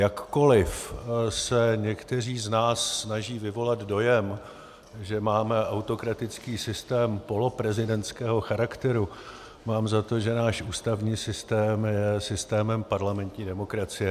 Jakkoliv se někteří z nás snaží vyvolat dojem, že máme autokratický systém poloprezidentského charakteru, mám za to, že náš ústavní systém je systémem parlamentní demokracie.